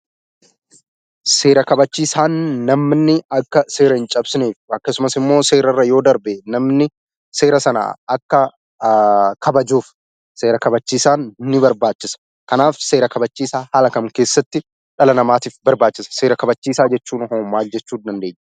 Seera kabachiisaan namni akka seera hin cabsine akkasumas immoo seerarra yoo darbe namni seera sana akka kabajuuf seera kabachiisaan nu barbaachisa. Kanaaf seera kabachiisaa haala kam keessatti dhala namaatif barbaachisa? Seera kabaachiisaa jechuunhoo maal jechuu dandeenya?